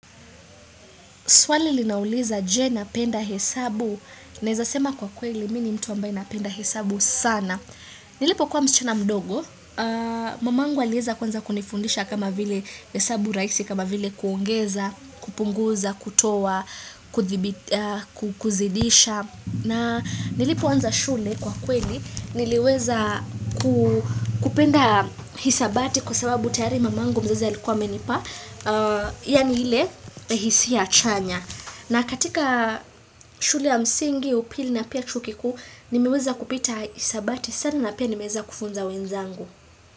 Swali linauliza je napenda hesabu, naweza sema kwa kweli mimi ni mtu ambaye napenda hesabu sana. Nilipokuwa msichana mdogo, mamangu aliweza kwanza kunifundisha kama vile hesabu rahisi, kama vile kuongeza, kupunguza, kutoa, kuzidisha. Na nilipoanza shule kwa kweli niliweza kupenda hisabati kwa sababu tayari mamangu mzazi alikuwa amenipa, yaani ile hisia chanya. Na katika shule ya msingi upili na pia chuo kikuu nimeweza kupita hisabati sana na pia nimeweza kufunza wenzangu.